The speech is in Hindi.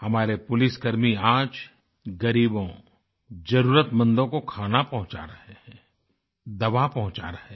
हमारे पुलिसकर्मी आज ग़रीबों ज़रुरतमंदो को खाना पंहुचा रहे हैं दवा पंहुचा रहे हैं